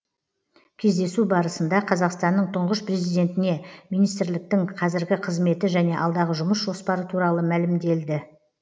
кездесу барысында қазақстанның тұңғыш президентіне министрліктің қазіргі қызметі және алдағы жұмыс жоспары туралы мәлімделді